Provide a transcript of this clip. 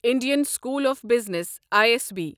Indian School of Business I S B